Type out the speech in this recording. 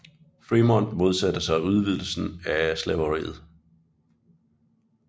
Frémont modsatte sig udvidelsen af slaveriet